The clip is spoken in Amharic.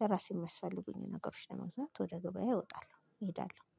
ለራሴ የማያስፈልጉኝ ነገሮች ለመግዛት ወደ ገበያ እወጣለው ይሄዳሉ